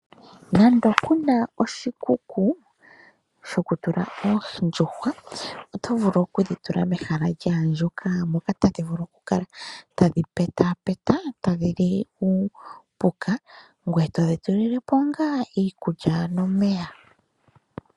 Nando kuna oshikuku sho ku tula oondjuhwa oto vulu okudhi tula mehala lyaandjuka, moka tadhi vulu okukala tadhi petaapeta tadhi li uupuka ngoye todhi tulile po ngaa iikulya nomeya.